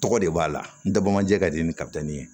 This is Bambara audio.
Tɔgɔ de b'a la n tɛ bɔ manjɛ ka di ni kabi ye